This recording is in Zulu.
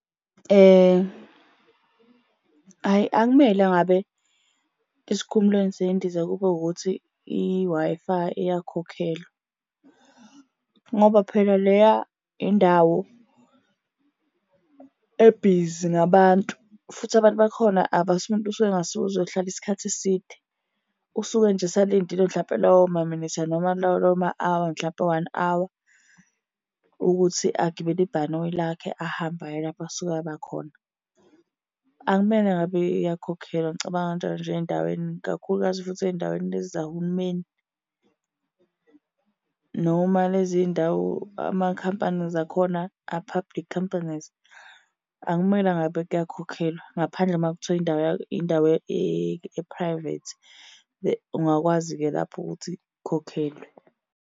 Hhayi akumele ngabe esikhumulweni sey'ndiza kube ukuthi i-Wi-Fi iyakhokhelwa, ngoba phela leya indawo ebhizi ngabantu, futhi abantu bakhona usuke engasuki ukuzohlala isikhathi eside. Usuke nje esalindile mhlampe lawo maminithi noma lawo ma-hour mhlampe u-one hour ukuthi agibele ibhanoyi lakhe ahambe aye lapho asuke abakhona. Akumele ngabe iyakhokhelwa, ngicabanga kanjalo nje ey'ndaweni kakhulukazi futhi ey'ndaweni lezi zahulumeni noma lezi ndawo amakhampani akhona a-public companies. Akumele ngabe kuyakhokhelwa ngaphandle uma kuthiwa indawo yabo indawo e-private. Ungakwazi-ke lapho ukuthi ukhokhelwe.